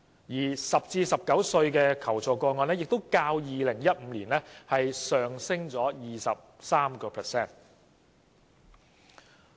此外 ，10 歲至19歲人士的求助個案數字也較2015年上升了 23%。